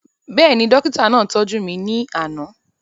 Bẹ́ẹ̀ni, dókítà náà tọ́jú mi ní àná